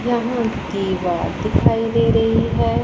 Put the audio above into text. यहाँ किवाड़ दिखाई दे रही है।